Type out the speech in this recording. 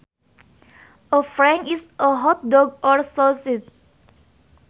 A frank is a hot dog or sausage